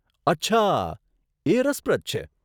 અચ્છા, એ રસપ્રદ છે.